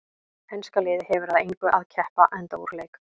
Enska liðið hefur að engu að keppa enda úr leik.